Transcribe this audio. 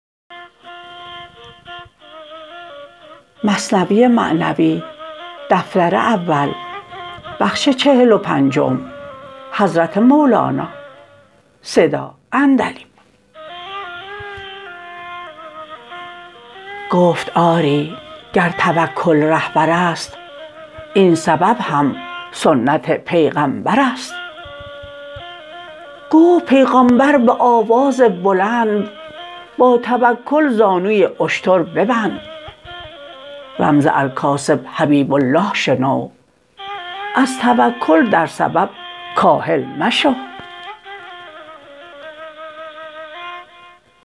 گفت آری گر توکل رهبر ست این سبب هم سنت پیغمبر ست گفت پیغامبر به آواز بلند با توکل زانو ی اشتر ببند رمز الکاسب حبیب الله شنو از توکل در سبب کاهل مشو